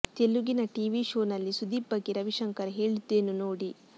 ತೆಲುಗಿನ TV show ನಲ್ಲಿ ಸುದೀಪ್ ಬಗ್ಗೆ ರವಿಶಂಕರ್ ಹೇಳಿದ್ದೇನು ನೋಡಿ